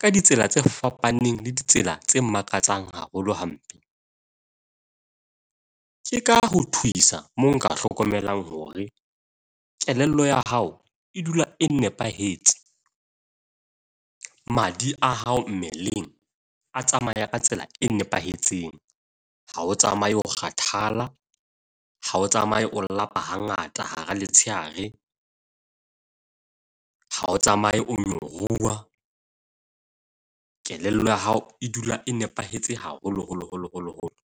ka ditsela tse fapaneng le ditsela tse makatsang haholo hampe. Ke ka ho thuisa moo nka hlokomelang hore kelello ya hao e dula e nepahetse. Madi a hao mmeleng a tsamaya ka tsela e nepahetseng. Ha o tsamaye o kgathala. Ha o tsamaye o lapa hangata hara letsheare. Ha o tsamaye o nyoruwa. Kelello ya hao e dula e nepahetse haholo holo holo, holo, holo.